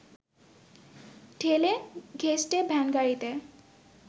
ঠেলে ঘেঁষটে ভ্যানগাড়িতে